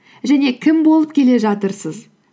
және кім болып келе жатырсыз